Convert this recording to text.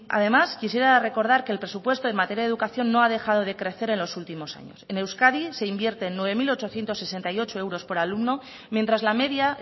además quisiera recordar que el presupuesto en materia de educación no ha dejado de crecer en los últimos años en euskadi se invierten nueve mil ochocientos sesenta y ocho euros por alumno mientras la media